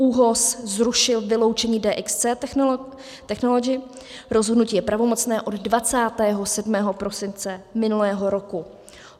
ÚOHS zrušil vyloučení DXC Technology, rozhodnutí je pravomocné od 27. prosince minulého roku.